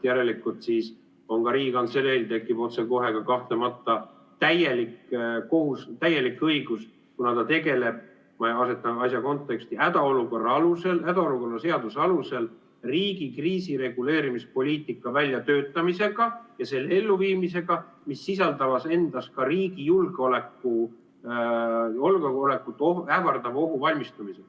Järelikult siis ka Riigikantseleil tekib otsekohe täielik õigus, kuna ta tegeleb, kui me asetame asja konteksti, hädaolukorra seaduse alusel riigi kriisireguleerimispoliitika väljatöötamisega ja selle elluviimisega, mis sisaldavad endas ka riigi julgeolekut ähvardavaks ohuks valmistumist.